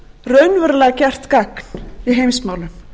raunverulega gert gagn í heimsmálum